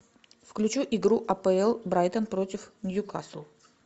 включи игру апл брайтон против ньюкасл